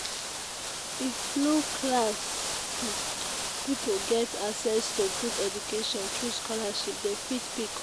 if low class pipo get access to good education through sholarship dem fit pick up